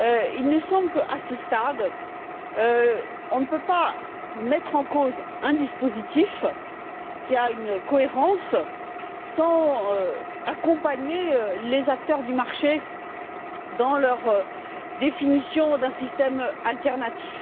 Il nous semble que, à ce stade, on ne peut pas mettre en cause un dispositif qui a une cohérence sans accompagner les acteurs du marché dans leur définition d'un système alternatif.